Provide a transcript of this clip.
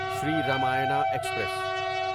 Shri Ramayana express